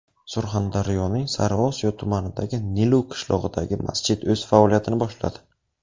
Surxondaryoning Sariosiyo tumanidagi Nilu qishlog‘idagi masjid o‘z faoliyatini boshladi.